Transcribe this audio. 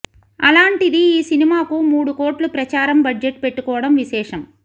అలాంటిది ఈ సినిమాకు మూడుకోట్లు ప్రచారం బడ్జెట్ పెట్టుకోవడం విశేషం